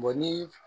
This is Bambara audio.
ni